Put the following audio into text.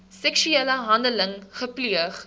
seksuele handeling gepleeg